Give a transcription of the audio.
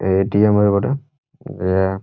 এ ATM. -এর বটে-এ দেয়া--